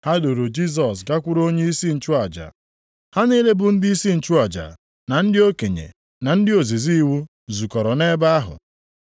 Ha duuru Jisọs gakwuru onyeisi nchụaja, ha niile bụ ndịisi nchụaja, na ndị okenye na ndị ozizi iwu zukọrọ nʼebe ahụ.